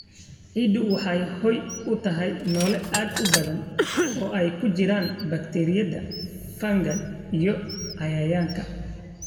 Ciiddu waxay hoy u tahay noole aad u badan, oo ay ku jiraan bakteeriyada, fungi, iyo cayayaanka.